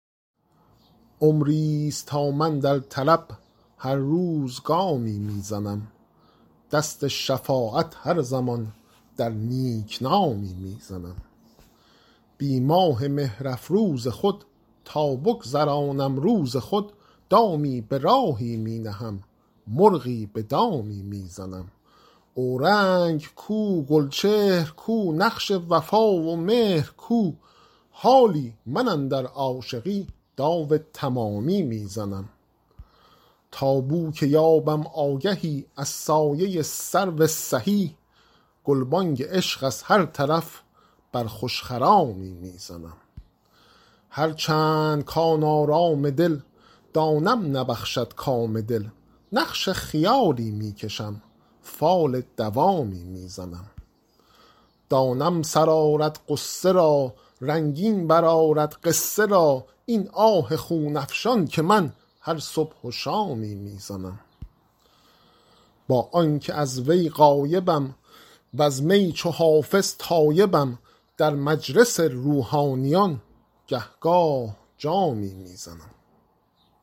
عمریست تا من در طلب هر روز گامی می زنم دست شفاعت هر زمان در نیک نامی می زنم بی ماه مهرافروز خود تا بگذرانم روز خود دامی به راهی می نهم مرغی به دامی می زنم اورنگ کو گلچهر کو نقش وفا و مهر کو حالی من اندر عاشقی داو تمامی می زنم تا بو که یابم آگهی از سایه سرو سهی گلبانگ عشق از هر طرف بر خوش خرامی می زنم هرچند کـ آن آرام دل دانم نبخشد کام دل نقش خیالی می کشم فال دوامی می زنم دانم سر آرد غصه را رنگین برآرد قصه را این آه خون افشان که من هر صبح و شامی می زنم با آن که از وی غایبم وز می چو حافظ تایبم در مجلس روحانیان گه گاه جامی می زنم